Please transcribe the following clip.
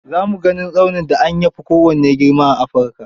Za mu ganin tsaunin da amya fi kowanne girma a Afirika.